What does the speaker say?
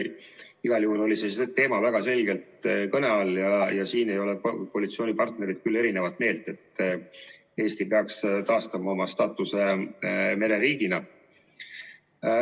Igal juhul oli see teema väga selgelt kõne all ja selles ei ole koalitsioonipartnerid küll eri meelt, et Eesti peaks taastama oma staatuse mereriigina.